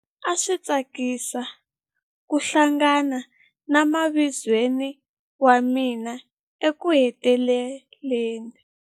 A swi tsakisa ku hlangana na mavizweni wa mina ekuheteleleni.